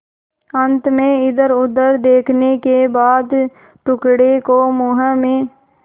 अंत में इधरउधर देखने के बाद टुकड़े को मुँह में